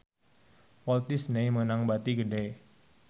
Walt Disney meunang bati gede